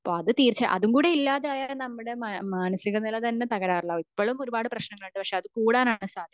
അത് തീർച്ച അതും കൂടെ ഇല്ലാതായാൽ നമുക് മാനസിക നില തന്നെ തകരാറിലാകും ഇപ്പോളും കുറച്ച പ്രശ്നങ്ങൾ ഉണ്ട് പക്ഷെ അറ്റ് കൂടാൻ ആണ് സാധ്യത